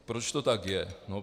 Proč to tak je?